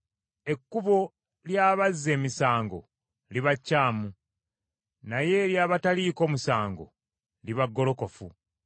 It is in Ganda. Ekkubo ly’abazza emisango liba kyamu, naye ery’abataliiko musango liba golokofu.